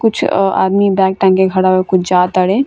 कुछ आ आदमी बैग टांग के खड़ा हुआ कुछ जा ताड़े।